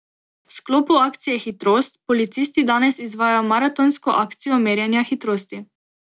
V sklopu akcije Hitrost policisti danes izvajajo maratonsko akcijo merjenja hitrosti.